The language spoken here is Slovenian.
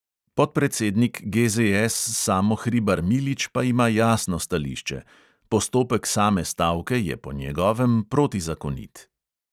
Podpredsednik GZS samo hribar milič pa ima jasno stališče: postopek same stavke je po njegovem protizakonit.